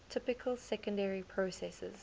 typical secondary processes